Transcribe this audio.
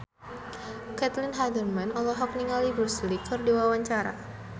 Caitlin Halderman olohok ningali Bruce Lee keur diwawancara